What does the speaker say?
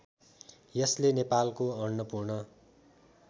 यसले नेपालको अन्नपूर्ण